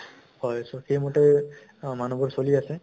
হয় so সেইমতে অ মানুহবোৰ চলি আছে